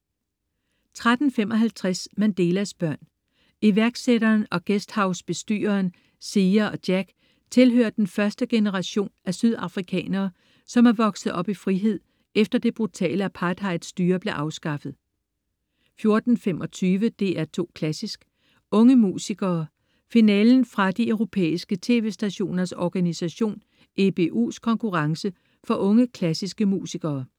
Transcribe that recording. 13.55 Mandelas børn. Iværksætteren og guesthouse-bestyreren. Siya og Jack tilhører den første generation af sydafrikanere, som er vokset op i frihed efter det brutale apartheidstyre blev afskaffet 14.25 DR2 Klassisk: Unge musikere. Finalen fra de Europæiske tv-stationers organisation, EBUs, konkurrence for unge klassiske musikere